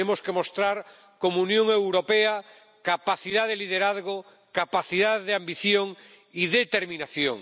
Tenemos que mostrar, como Unión Europea, capacidad de liderazgo, capacidad de ambición y determinación.